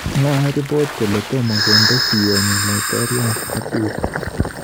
Lakini mwoe ribot kole tomo konde siyenyi laitoryat Kabila